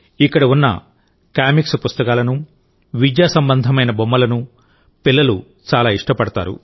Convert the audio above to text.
ఇక్కడ ఉన్న కామిక్స్ పుస్తకాలను విద్యాసంబంధమైన బొమ్మలను పిల్లలు చాలా ఇష్టపడతారు